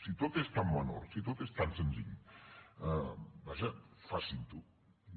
si tot és tan menor si tot és tan senzill vaja facin ho